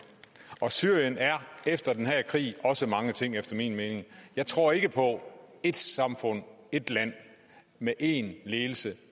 og syrien er efter denne krig også mange ting efter min mening jeg tror ikke på ét samfund ét land med én ledelse